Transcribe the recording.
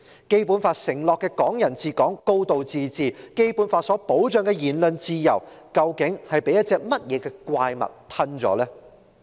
《基本法》承諾的"港人治港"、"高度自治"，《基本法》所保障的言論自由，究竟被甚麼怪物吞食了？